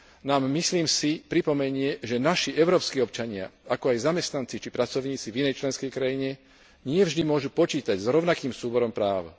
nám, myslím si, pripomenie, že naši európski občania, ako aj zamestnanci, či pracovníci v inej členskej krajine nie vždy môžu počítať s rovnakým súborom práv.